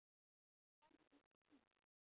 Við erum orðin of dýr.